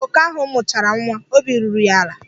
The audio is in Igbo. Mgbe oke ahụ mụchara nwa, obi ruru ya ala.